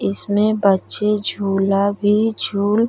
इसमें बच्चे झूला भी झूल --